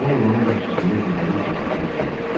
Ovod onun qarşısında dizləri üstə çökərək soruşdu: